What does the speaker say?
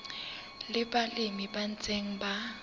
le balemi ba ntseng ba